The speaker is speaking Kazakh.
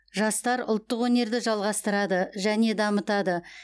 жастар ұлттық өнерді жалғастырады және дамытады